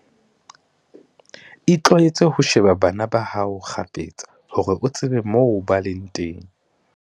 Itlwaetse ho sheba bana ba hao kgafetsa, hore o tsebe moo ba leng teng.